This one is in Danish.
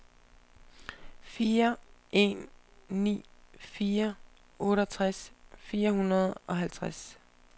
fire en ni fire otteogtres fire hundrede og halvtreds